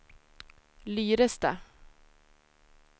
Lyrestad